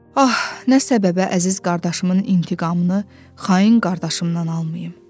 Ah, nə səbəbə əziz qardaşımın intiqamını xain qardaşımdan almayım,